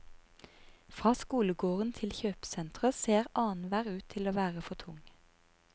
Fra skolegården til kjøpesenteret ser annenhver ut til å være for tung.